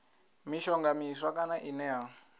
mishonga miswa kana ine ya